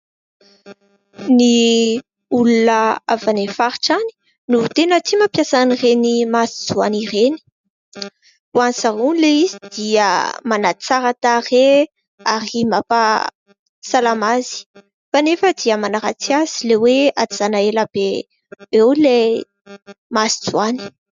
Ny olona avy any faritra any ! No tena tia mampiasa an'ireny masonjoany ireny. Ho any zareo ilay izy dia manan-tsara tarehy ary mampasalama azy ; kanefa dia manaratsy azy ilay hoe ajanona ela be eo ilay masonjoany.